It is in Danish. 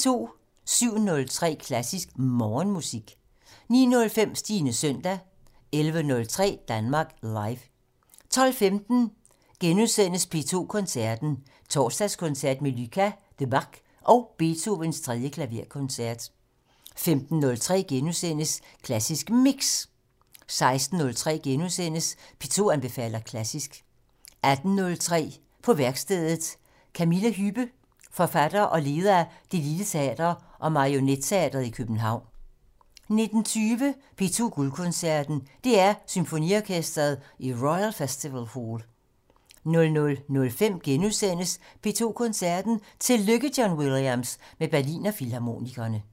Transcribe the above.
07:03: Klassisk Morgenmusik 09:05: Stines søndag 11:03: Danmark Live 12:15: P2 Koncerten - Torsdagskoncert med Lucas Debargue og Beethovens 3. klaverkoncert * 15:03: Klassisk Mix * 16:03: P2 anbefaler klassisk * 18:03: På værkstedet - Camilla Hübbe, forfatter og leder af Det lille Teater og Marionetteatret i København 19:20: P2 Guldkoncerten - DR Symfoniorkestret i Royal Festival Hall 00:05: P2 Koncerten - Tillykke John Williams! - med Berliner Filharmonikerne *